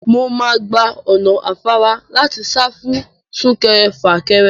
Mo máa gba ọ̀nà afárá láti sá fún sún-kẹrẹ-fà-kẹrẹ.